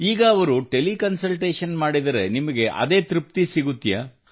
ಈಗ ಅವರು teleconsultation ಮಾಡಿದರೆ ನಿಮಗೆ ಅದೇ ತೃಪ್ತಿ ಸಿಗುತ್ತದೆಯೇ